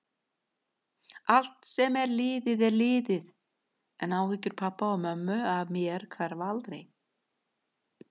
Allt sem er liðið er liðið, en áhyggjur pabba og mömmu af mér hverfa aldrei.